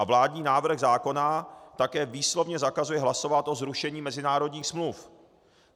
A vládní návrh zákona také výslovně zakazuje hlasovat o zrušení mezinárodních smluv.